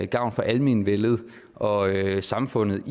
gavn for almenvellet og samfundet